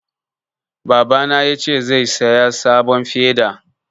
Babana ya ce zai saya sabon feda